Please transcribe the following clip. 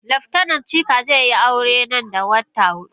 Laftanar Chika zai yi aure nan da wata hudu.